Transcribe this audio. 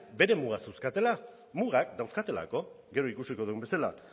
beren mugak zeuzkatela mugak dauzkatelako gero ikusiko dugun bezala